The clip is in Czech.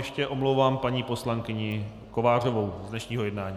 Ještě omlouvám paní poslankyni Kovářovou z dnešního jednání.